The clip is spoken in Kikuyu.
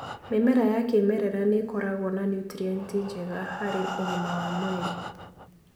Mĩmera ya kĩmerera nĩĩkoragwo na nutrienti njega harĩ ũgima wa mwĩrĩ.